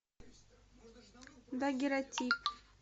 дагерротип